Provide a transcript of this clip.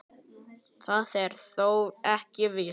Það er þó ekki víst.